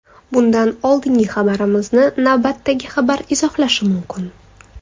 Bundan oldingi xabarimizni navbatdagi xabar izohlashi mumkin.